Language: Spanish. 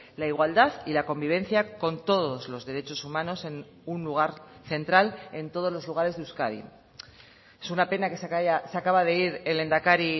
la igualdad y la convivencia con todos los derechos humanos en un lugar central en todos los lugares de euskadi es una pena que se acaba de ir el lehendakari